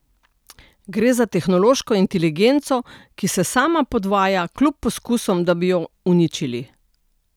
Gre za tehnološko inteligenco, ki se sama podvaja, kljub poskusom, da bi jo uničili.